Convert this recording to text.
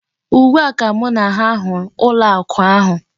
Ugbu a ka mụ na ha hụrụ ụlọ akụ ahụ.